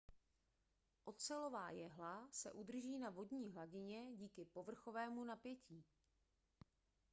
ocelová jehla se udrží na vodní hladině díky povrchovému napětí